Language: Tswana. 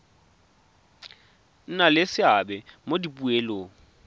nna le seabe mo dipoelong